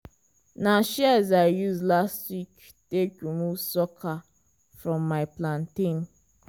na shears i use last week take remove sucker from my plantain.